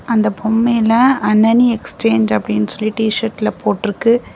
அந்த பொம்மையில அணனி எக்ஸ்சேஞ்ச் அப்படின்னு சொல்லி டி_ஷர்ட்ல போட்ருக்கு.